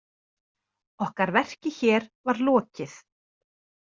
Okkar verki hér var lokið.